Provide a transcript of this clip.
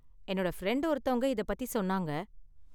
என்னோட ஃப்ரெண்ட் ஒருத்தவங்க இத பத்தி சொன்னாங்க.